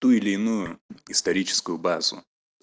ту или иную историческую базу